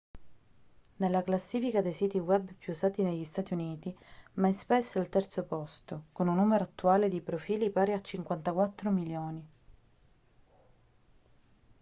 nella classifica dei siti web più usati negli stati uniti myspace è al terzo posto con un numero attuale di profili pari a 54 milioni